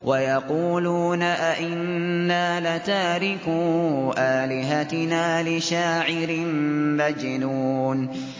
وَيَقُولُونَ أَئِنَّا لَتَارِكُو آلِهَتِنَا لِشَاعِرٍ مَّجْنُونٍ